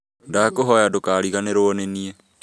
Ndakũhoya ndũkariganĩrwo nĩniĩ